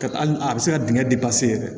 Ka hali a bɛ se ka dingɛ yɛrɛ